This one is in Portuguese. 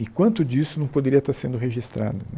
E quanto disso não poderia estar sendo registrado?